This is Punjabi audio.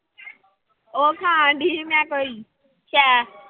ਉਹ ਖਾਣਡੀ ਸੀ ਮੈਂ ਕੋਈ ਸ਼ੈਅ।